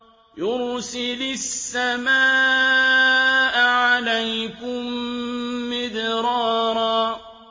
يُرْسِلِ السَّمَاءَ عَلَيْكُم مِّدْرَارًا